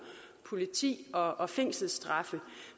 politi og og fængselsstraffe